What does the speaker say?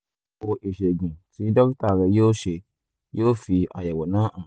àyẹ̀wò ìṣègùn tí dókítà rẹ yóò ṣe yóò fi àyẹ̀wò náà hàn